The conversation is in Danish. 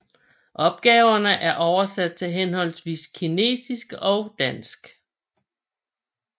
Opgaverne er oversat til henholdsvis kinesisk og dansk